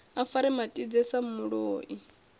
a fare matidze sa muloi